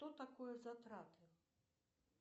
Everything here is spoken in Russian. что такое затраты